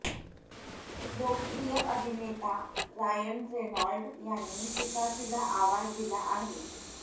लोकप्रिय अभिनेता Ryan Reynold यांनी पिकाचूला आवाज दिला आहे